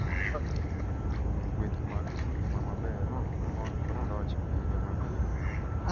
Manyo gueth mag ngima maber, mor, kod loch e higa mabiro.